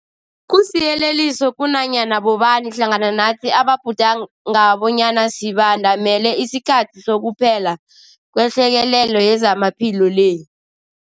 Kusiyeleliso kunanyana bobani hlangana nathi ababhudanga bonyana sibandamele isikhathi sokuphela kwehlekelele yezamaphilo le.